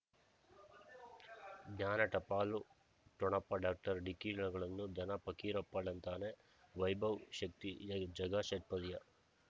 ಜ್ಞಾನ ಟಪಾಲು ಠೊಣಪ ಡಾಕ್ಟರ್ ಢಿಕ್ಕಿ ಣಗಳನು ಧನ ಫಕೀರಪ್ಪ ಳಂತಾನೆ ವೈಭವ್ ಶಕ್ತಿ ಝಗಾ ಷಟ್ಪದಿಯ